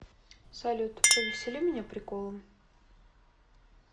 салют повесели меня приколом